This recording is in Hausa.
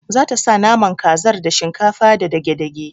Zata sa naman kazar da shinkafa da dage dage